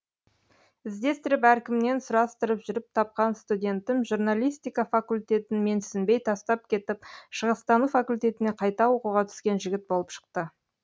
іздестіріп әркімнен сұрастырып жүріп тапқан студентім журналистика факультетін менсінбей тастап кетіп шығыстану факультетіне қайта оқуға түскен жігіт болып шықты